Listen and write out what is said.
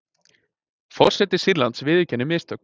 Forseti Sýrlands viðurkennir mistök